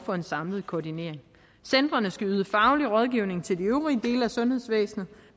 for en samlet koordinering centrene skal yde faglig rådgivning til de øvrige dele af sundhedsvæsenet